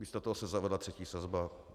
Místo toho se zavedla třetí sazba.